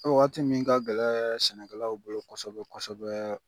Waati min ka gɛlɛ sɛnɛkɛlaw bolo kosɛbɛ kosɛbɛ